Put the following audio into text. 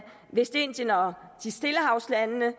vestindien og stillehavslandene